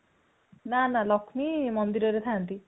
ନାନା ଲକ୍ଷ୍ମୀ ମନ୍ଦିରରେ ଥାନ୍ତି